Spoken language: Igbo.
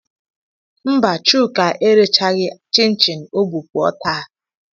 Mba, Chuka erechaghị chin chin ọ bu pụọ taa.